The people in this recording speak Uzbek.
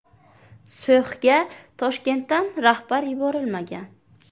So‘xga Toshkentdan rahbar yuborilmagan.